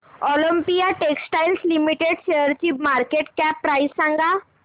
Olympia textiles limited शेअरची market cap price सांगा